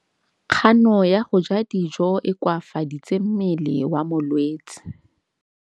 Kganô ya go ja dijo e koafaditse mmele wa molwetse.